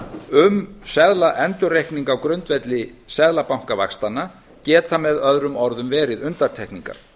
um seðlaendurreikning á grundvelli seðlabankavaxtanna geta með öðrum orðum verið undantekningar